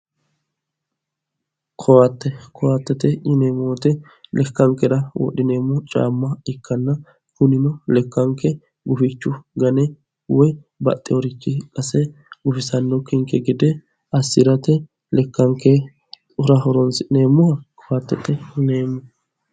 Koatte, koattete yinneemmo woyte lekkankera wodhineemmo caama ikkanna kunino lekkanke gufichu gane woyi baxxinorichi qase gufisanonkekki assirate lekkankera horonsi'neemmoha koattete yinneemmo.